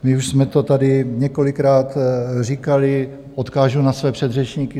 My už jsme to tady několikrát říkali, odkážu na své předřečníky.